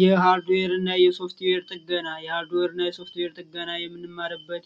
የሐርድዌርና የሶፍትዌር ጥገና ሶፍትዌር ጥገና የምንማርበት